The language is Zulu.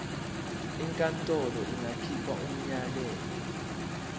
inkantolo ingakhipha umyalelo